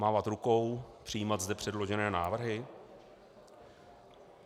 Mávat rukou, přijímat zde předložené návrhy?